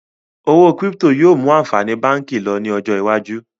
Owó kírípítò yìí ó mú àǹfààní báànkì lọ ní ọjọ́ iwájú